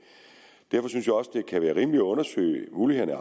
derfor synes jeg også det kan være rimeligt at undersøge mulighederne